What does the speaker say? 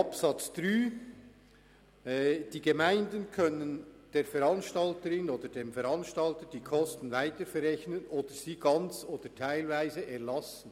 Zu Absatz 3: «Die Gemeinden können der Veranstalterin oder dem Veranstalter die Kosten weiter verrechnen oder sie ganz oder teilweise erlassen.